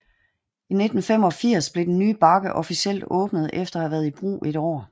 I 1985 blev den nye bakke officielt åbnet efter at have været i brug et år